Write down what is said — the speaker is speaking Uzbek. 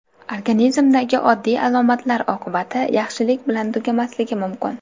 Organizmdagi oddiy alomatlar oqibati yaxshilik bilan tugamasligi mumkin.